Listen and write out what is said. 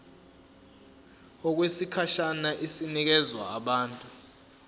okwesikhashana inikezwa abantu